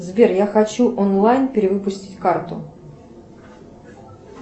сбер я хочу онлайн перевыпустить карту